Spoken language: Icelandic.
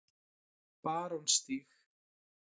Barónsstíg